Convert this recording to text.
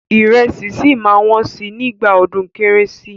Ìrẹsì ṣì máa wọ́n sí nígbà ọdún kẹ́rẹ́sì.